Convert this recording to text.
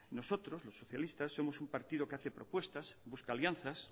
nosotros los socialistas somos un partido que hace propuestas busca alianzas